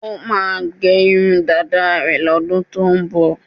Ó máà ń gẹ irun dáda rẹ̀ lọ́dún tó ń bọ̀.